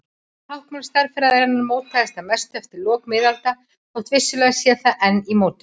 Táknmál stærðfræðinnar mótaðist að mestu eftir lok miðalda þótt vissulega sé það enn í mótun.